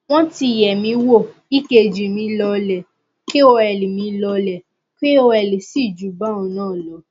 wọn ti yẹ mí wò ekg mi lọọlẹ kol mi lọọlẹ kol sì ju báhun náà lọ